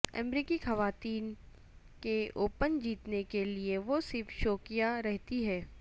امریکی خواتین کے اوپن جیتنے کے لئے وہ صرف شوقیہ رہتی ہے